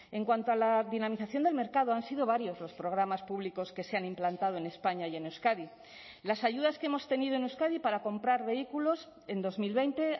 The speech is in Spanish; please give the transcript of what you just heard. en cuanto a la dinamización del mercado han sido varios los programas públicos que se han implantado en españa y en euskadi las ayudas que hemos tenido en euskadi para comprar vehículos en dos mil veinte